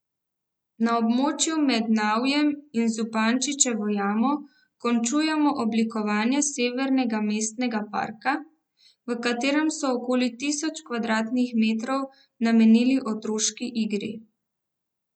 Na območju med Navjem in Zupančičevo jamo končujejo oblikovanje Severnega mestnega parka, v katerem so okoli tisoč kvadratnih metrov namenili otroški igri.